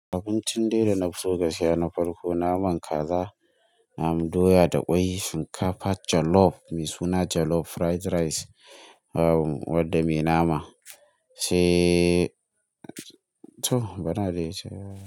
Abincin dai da na so gaskiya na farko naman kaza, naman doya da ƙwai, shinkafa jollof mai suna jollof fried rice wadda me nama. Se to! Bana da ita.